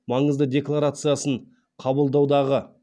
маңызды декларациясын қабылдаудағы